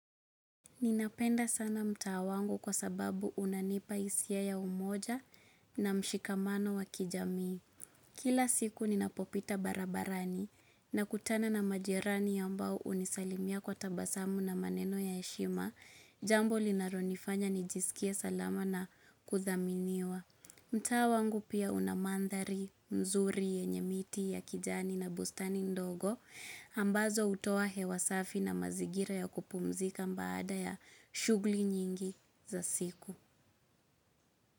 Ninapenda sana mtaa wangu kwa sababu unanipa hisia ya umoja na mshikamano wa kijamii. Kila siku ninapopita barabarani na kutana na majirani ambao hunisalimia kwa tabasamu na maneno ya heshima, jambo linalonifanya nijisikie salama na kudhaminiwa. Mtaa wangu pia unamandhari nzuri yenye miti ya kijani na bustani ndogo, ambazo hutoa hewa safi na mazingira ya kupumzika baada ya shughuli nyingi za siku.